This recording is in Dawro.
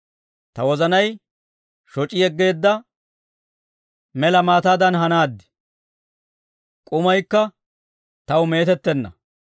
Ta wozanay shoc'i yeggeedda mela maataadan hanaad; k'umaykka taw meetettenna.